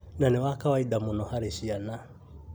na nĩ wa kawaida mũno harĩ ciana,